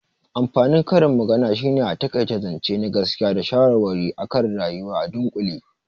Amfanin karin magana shine a taƙaita zance na gaskiya da shawarwari akan rayuwa a dunƙule